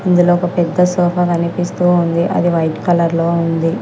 ఇందులో ఒక పెద్ద సోఫా కనిపిస్తూ ఉంది. అది వైట్ కలర్లో లో ఉంది.